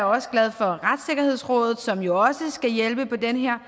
også glad for retssikkerhedsrådet som jo skal hjælpe på den her